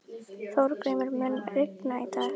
Þorgríma, mun rigna í dag?